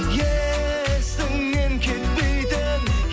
есіңнен кетпейтін